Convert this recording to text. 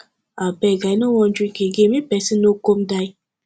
abeg i no wan drink again make person no come die